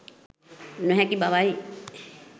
නොහැකි බවයි.